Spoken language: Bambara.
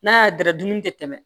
N'a y'a dara dumuni tɛ tɛmɛ